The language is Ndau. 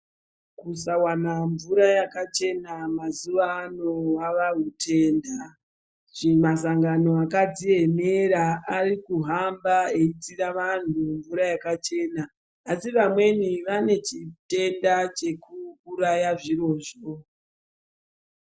Kusawana mvura yakachena mazuwa ano hwava hutenda. Masangano akadziemera ari kuhamba eitsira vantu mvura yakachena. Asi vamweni vane chitenda chekuuraya zvirozvo.